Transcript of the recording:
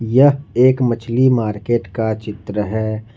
यह एक मछली मार्केट का चित्र है।